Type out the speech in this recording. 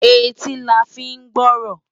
Éti lá fi n gbòròn